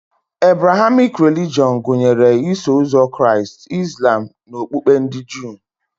Ebrahamik relijọn gụnyere Iso ụzọ Kraịst, Izlam na okpukpe ndị Juu